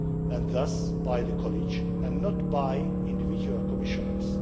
and thus by the College, and not by individual Commissioners.